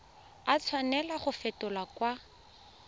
a tshwanela go fetolwa kwa